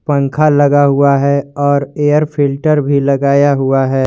पंखा लगा हुआ है और एयर फिल्टर भी लगाया हुआ है।